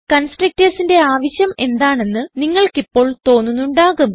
constructorsന്റെ ആവശ്യം എന്താണെന്ന് നിങ്ങൾക്കിപ്പോൾ തോന്നുന്നുണ്ടാകും